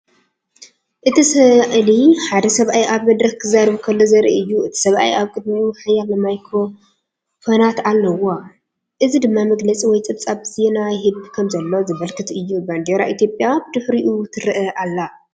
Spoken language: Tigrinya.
እቲ ስእሊ ሓደ ሰብኣይ ኣብ መድረኽ ክዛረብ ከሎ ዘርኢ እዩ። እቲ ሰብኣይ ኣብ ቅድሚኡ ሓያሎ ማይክሮፎናት ኣለዋ፡ እዚ ድማ መግለጺ ወይ ጸብጻብ ዜና ይህብ ከምዘሎ ዘመልክት እዩ። ባንዴራ ኢትዮጵያ ብድሕሪኡ ትረአ ኣላ።